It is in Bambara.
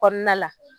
Kɔnɔna la